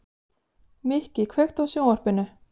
Mikki, kveiktu á sjónvarpinu.